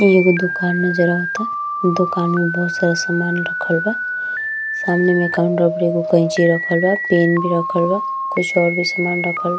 इ एगो दुकान नजर आवता। दुकान में बोहोत सारा सामान रखल बा। सामने में काउंटर पर एगो कैची रखल बा पेन भी रखल बा कुछ और भी सामान रखल --